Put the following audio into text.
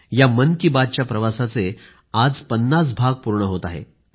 या मन की बातच्या प्रवासाचे आज 50 भाग पूर्ण होत आहेत